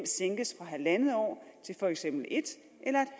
halv år til for eksempel en eller en